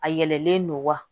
A yɛlɛlen don wa